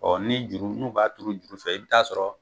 ni juru n'u b'a turu juru fɛ i bɛ t'a sɔrɔ